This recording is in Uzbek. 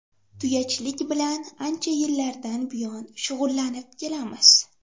Tuyachilik bilan ancha yillardan buyon shug‘ullanib kelamiz.